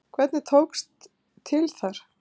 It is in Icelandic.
Hvernig tókst til þar?